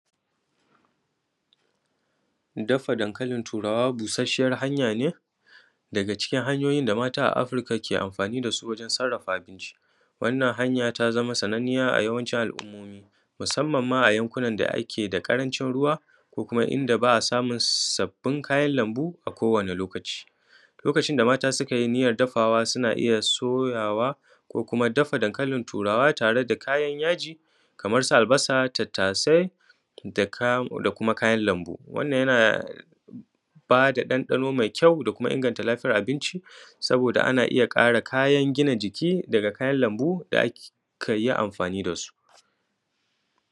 Dafa dankalin turawa busasshiyar hanya ne daga cikin hanyoyin da mata a Afirka ke amfani da shi wajen sarrafa shi. Wannan hanya ta zama sananniya a yawancin al; umma, musamman ma a yankunan da ake da ƙarancin ruwa ko kuma inda ba a samun sababbin kayan lambu a kowanne lokaci Lokacin da mata suka yi niyyar dafawa suna iya soyawa ko kuma dafa dankalin turawa tare da kayan yaji, kamar su; albasa, tattasai da kuma kayan lambu. Wannan yana ba da ɗanɗano mai ƙyau da kuma inganta abinci, saboda ana iya ƙara kayan gina jiki daga kayan lambu da aka yi amfani da su